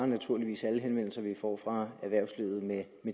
naturligvis alle henvendelser som vi får fra erhvervslivet med